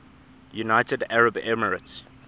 united arab emirates